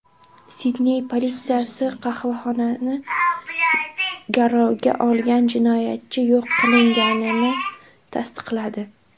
Sidney politsiyasi qahvaxonani garovga olgan jinoyatchi yo‘q qilinganini tasdiqladi.